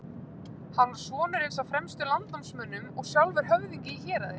Hann var sonur eins af fremstu landnámsmönnum og sjálfur höfðingi í héraði.